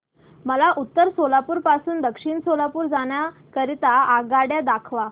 मला उत्तर सोलापूर पासून दक्षिण सोलापूर जाण्या करीता आगगाड्या दाखवा